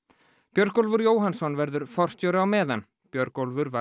Björgólfur Jóhannsson verður forstjóri á meðan Björgólfur var